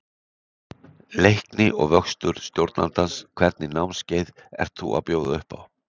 Leikni og vöxtur stjórnandans Hvernig námskeið ert þú að bjóða upp á?